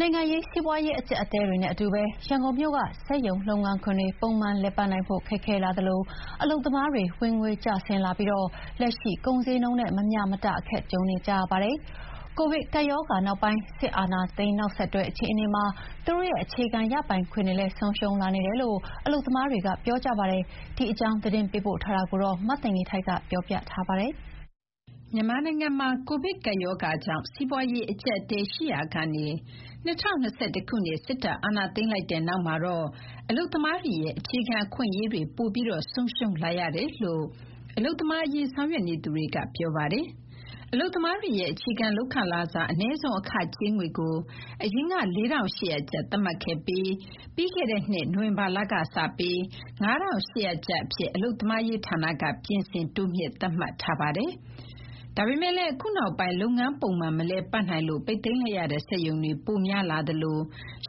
နိုင်ငံရေး၊ စီးပွားရေးအကျပ်အတည်းတွေနဲ့အတူ ရန်ကုန်မြို့က စက်ရုံလုပ်ငန်းခွင်တွေ ပုံမှန်လည်ပတ်နိုင်ဖို့ ခက်ခဲလာတာကြောင့် အလုပ်သမားတွေ ဝင်ငွေကျဆင်းလာပြီး လက်ရှိ ကုန်ဈေးနှုန်းနဲ့ မမျှမတ အခက်ကြုံနေကြရပါတယ်။ ကိုဗစ်ကပ်ရောဂါနောက်ပိုင်း စစ်အာဏာသိမ်းနောက်ဆက်တွဲအခြေအနေမှာ သူတို့ရဲ့အခြေခံရပိုင်ခွင့်တွေလည်း ဆုံးရှုံးလာနေတယ်လို့ အလုပ်သမားတွေက ပြောကြပါတယ်။ ဒီအကြောင်း သတင်းပေးပို့ထားတာကို မသိင်္ဂီထိုက်က တင်ပြပေးထားပါတယ်။ မြန်မာနိုင်ငံမှာ ကိုဗစ်ကပ်ရောဂါကြောင့် စီးပွားရေး အကျပ်အတည်းရှိရာကနေ ၂၀၂၁ ခုနှစ် စစ်တပ်အာဏာသိမ်းလိုက်တဲ့နောက်မှာတော့ အလုပ်သမားတွေရဲ့ အခြေခံအခွင့်အရေးတွေ ပိုပြီးဆုံးရှုံးလာရတယ်လို့ အလုပ်သမားအရေး ဆောင်ရွက်နေသူတွေက ပြောပါတယ်။ အလုပ်သမားတွေရဲ့ အခြေခံလုပ်ခလစာ အနည်းဆုံးအခကြေးငွေကို အရင်က ၄,၈၀၀ ကျပ် သတ်မှတ်ခဲ့ပြီး ပြီးခဲ့တဲ့နှစ် နိုဝင်ဘာလကစပြီး ၅,၈၀၀ ကျပ်အဖြစ် အလုပ်သမားရေးဌာနက ပြင်ဆင် တိုးမြှင့်သတ်မှတ်ထားပါတယ်။ ဒါပေမယ့်လည်း အခုနောက်ပိုင်း လုပ်ငန်းပုံမှန် မလည်ပတ်နိုင်လို့ ပိတ်သိမ်းလိုက်ရတဲ့ စက်ရုံတွေ ပိုများလာသလို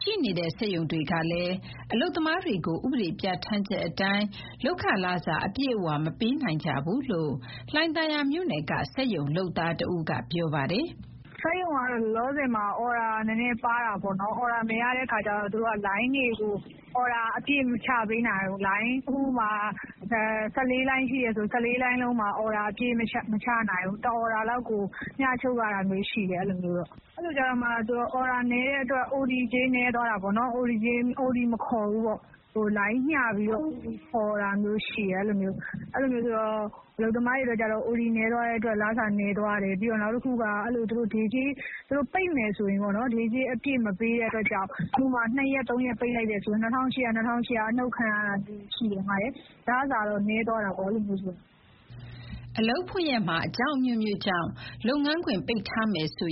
ရှိနေတဲ့ စက်ရုံတွေကလည်း အလုပ်သမားတွေကို ဥပဒေပြဌာန်းချက်အတိုင်း လုပ်ခလစာ အပြည့်အဝမပေးနိုင်ကြဘူးလို့ လှိုင်သာယာမြို့နယ်က စက်ရုံလုပ်သားတဦးက ပြောပါတယ်။ "စက်ရုံကတော့ လောလောဆယ်မှာ အော်ဒါနည်းနည်း ပါးတာပေါ့နော်။ အော်ဒါမရတဲ့ အခါကျတော့ သူတို့က လိုင်းတွေကို အော်ဒါအပြည့် မချပေးနိုင်ဘူး။ ဥပမာ ၁၄ လိုင်း အပြည့်ရှိတယ်ဆိုရင် ၁၄ လိုင်းလုံးမှာ အော်ဒါအပြည့် မချနိုင်ဘူး။ တအော်ဒါလောက်ကို မျှချုပ်ရတာမျိုးရှိတယ်။ အဲလိုကျတော့ အော်ဒါနည်းတဲ့အတွက် အိုတီ မခေါ်ဘူးပေါ့။ လိုင်းမျှပြီးတော့ ခေါ်တာမျိုးရှိတယ်။ အဲလိုမျိုးဆိုတော့ အလုပ်သမားတွေအတွက်က အိုတီနည်းသွားတဲ့အတွက် လစာနည်းသွားတယ်။ နောက်တခုက သူတို့ပိတ်မယ်ဆိုရင် ဒေးကြေးအပြည့်မပေးတဲ့အတွက်ကြောင့် ၂ ရက်ပိတ်မယ်ဆို တရက်ကို ၂,၈၀၀ စီ အနှုတ်ခံရတယ်။ လစာနည်းသွားတာပေါ့။" အလုပ်ဖွင့်ရက်မှာ အကြောင်းအမျိုးမျိုးကြောင့် လုပ်ငန်းခွင်ပိတ်ထားမယ်ဆို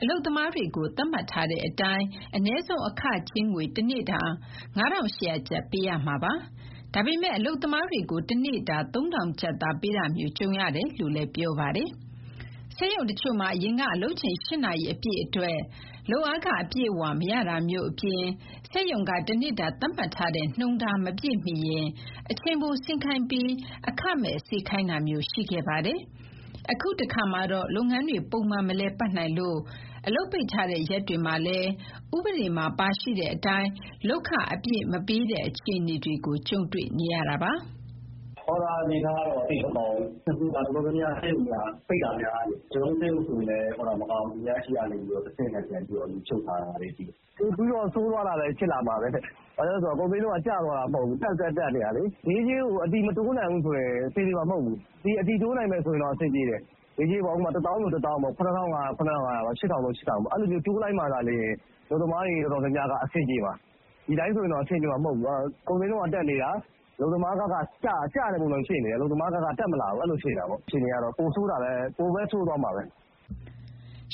အလုပ်သမားတွေကို သတ်မှတ်ထားတဲ့အတိုင်း အနည်းဆုံးအခကြေးငွေ တနေ့တာ ၅,၈၀၀ ကျပ် ပေးရမှာပါ။ ဒါပေမဲ့ အလုပ်သမားတွေကို တနေ့တာ ၃,၀၀၀ ကျပ်သာ ပေးတာမျိုး ကြုံနေရတယ်လို့ ပြောပါတယ်။ စက်ရုံတချို့မှာ အရင်က အလုပ်ချိန် ၈ နာရီအပြည့်အတွက် လုပ်အားခ အပြည့်အဝ မရတာမျိုးအပြင် စက်ရုံက တနေ့တာ သတ်မှတ်ထားတဲ့ နှုန်းထားမပြည့်မီရင် အချိန်ပိုဆင်းခိုင်းပြီး အခမဲ့ စေခိုင်းတာမျိုး ရှိခဲ့ပါတယ်။ အခုတခါမှာတော့ လုပ်ငန်းတွေ ပုံမှန်မလည်ပတ်နိုင်လို့ အလုပ်ပိတ်ထားတဲ့ရက်တွေမှာလည်း ဥပဒေမှာပါရှိတဲ့အတိုင်း လုပ်ခအပြည့်မပေးတဲ့ အခြေအနေတွေကို ကြုံတွေ့နေရတာပါ။ "အော်ဒါ အနေအထားကတော့ သိပ်မကောင်းဘူး။ အခု စက်ရုံတော်တော်များများက ပိတ်တာများနေပြီ။ ကျနော်တို့ စက်ရုံဆိုရင်လည်း အော်ဒါမကောင်းဘူး။ သူများဆီကနေ တဆင့်ခံယူချုပ် ရတာတွေချည်းပဲ။ အခြေအနေကတော့ ပိုပြီးတော့ ဆိုးသွားတာပဲ ဖြစ်လာမှာပဲ။ ဘာကြောင့်လဲဆိုတော့ ကုန်စျေးနှုန်းက ကျသွားတာမဟုတ်ဘူး၊ တက် တက်နေတာလေ။ ဒေးကြေးကို အတည်မတိုးနိုင်ဘူးဆိုရင် အလုပ်သမားတွေက အဆင်ပြေမှာ မဟုတ်ဘူး။ အတည်တိုးနိုင်ရင်တော့ အဆင်ပြေမယ်။ ဥပမာ ၁၀,၀၀၀ ၊ ၇,၅၀၀ ၊ ၈,၀၀၀ အဲလိုမျိုး တိုးလိုက်မှသာလျှင် အလုပ်သမားတွေ တော်တော်များများက အဆင်ပြေမှာ။ ဒီတိုင်းဆို အဆင်ပြေမှာ မဟုတ်ဘူး။ ကုန်စျေးနှုန်းက တက်နေတာ။ အလုပ်သမားဘက်က ကျတဲ့ပုံစံမျိုး ဖြစ်နေတယ်။ အလုပ်သမားဘက်က တက်မလာဘူး။ အခြေအနေတွေကတော့ ပိုပဲဆိုးသွားမှာပဲ။"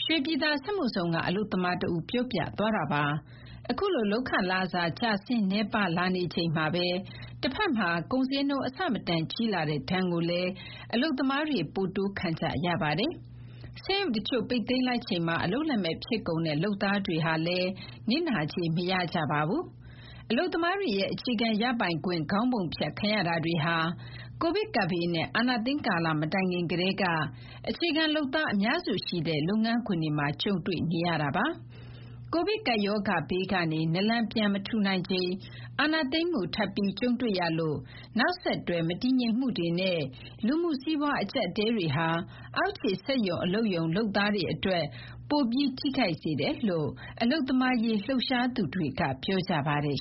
ရွှေပြည်သာစက်မှုဇုန်က အလုပ်သမားတဦး ပြောပြသွားတာပါ။ အခုလို လုပ်ခလစာကျဆင်းနည်းပါးလာချိန်မှာပဲ တဘက်မှာ ကုန်ဈေးနှုန်းအဆမတန်ကြီးလာတဲ့ ဒဏ်ကိုလည်း အလုပ်သမားတွေက ပိုတိုးခံကြရပါတယ်။ စက်ရုံတချို့ ပိတ်သိမ်းလိုက်ချိန်မှာ အလုပ်လက်မဲ့ ဖြစ်ကုန်တဲ့ လုပ်သားတွေဟာလည်း နစ်နာကြေး မရကြပါဘူး။ အလုပ်သမားတွေရဲ့ အခြေခံရပိုင်ခွင့် ခေါင်းပုံဖြတ်ခံရတာတွေဟာ ကိုဗစ်ကပ်ဘေးနဲ့ အာဏာသိမ်းကာလ မတိုင်ခင်ကတည်းက အခြေခံလုပ်သား အများစုရှိတဲ့ လုပ်ငန်းခွင်တွေမှာ ကြုံတွေ့နေရတာပါ။ ကိုဗစ်ကပ်ရောဂါဘေးကနေ နာလန်ပြန်မထူနိုင်ချိန် အာဏာသိမ်းမှု ထပ်ပြီးကြုံတွေ့ရလို့ နောက်ဆက်တွဲ မတည်ငြိမ်မှုတွေနဲ့ လူမှုစီးပွား အကျပ်အတည်းတွေဟာ အောက်ခြေစက်ရုံအလုပ်ရုံလုပ်သားတွေအတွက် ပိုပြီး ထိခိုက်စေတယ်လို့ အလုပ်သမားရေးလှုပ်ရှားသူတွေက ပြောကြပါတယ်